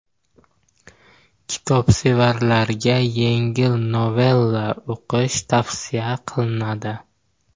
Kitobsevarlarga yengil novella o‘qish tavsiya qilinadi.